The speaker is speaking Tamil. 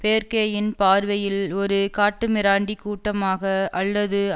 பேர்க்கேயின் பார்வையில் ஒரு காட்டுமிராண்டி கூட்டமாக அல்லது